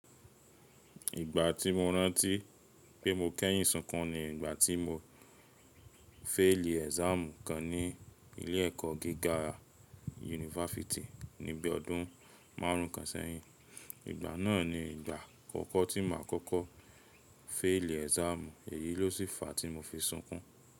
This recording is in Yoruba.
Ìgbà tí mo rántí pé mo kẹ́yìn súnkún ni ìgbà tí mo féèlì exam kan ní ilé ẹ̀kọ́ gíga yunifásítì ní bí i ọdún márùn ún kan sẹ́yìn. Ìgbà náà ni ìgbà àkọ́kọ́ tí màá kọ́kọ́ féèlì exam, èyí ló sì fa tí mo fi súnkún.